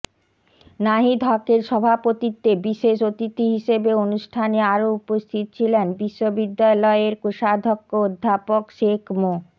নাহিদ হকের সভাপতিত্বে বিশেষ অতিথি হিসেবে অনুষ্ঠানে আরো উপস্থিত ছিলেন বিশ্ববিদ্যালয়ের কোষাধ্যক্ষ অধ্যাপক শেখ মো